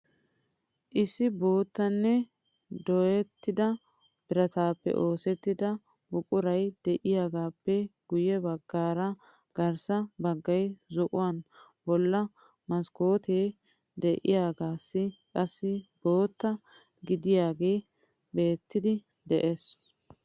Issi boottanne dooyettida birataappe oosettida buquray de"iyaagaappe guyye baggaara garssa baggay zo"uwaan bolla maskkootee de"iyoogasay qassi bootta gididaagee beettiiddi de'ees.